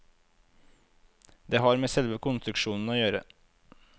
Det har med selve konstruksjonen å gjøre.